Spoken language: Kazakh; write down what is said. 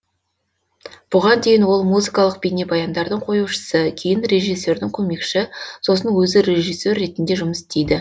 бұған дейін ол музыкалық бейнебаяндардың қоюшысы кейін режиссердің көмекші сосын өзі режиссер ретінде жұмыс істейді